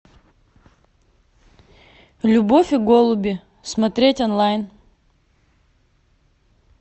любовь и голуби смотреть онлайн